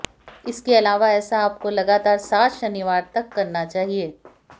इसके इलावा ऐसा आपको लगातार सात शनिवार तक करना चाहिए